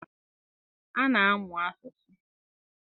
A na-amụ asụsụ.